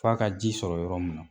F'a ka ji sɔrɔ yɔrɔ min na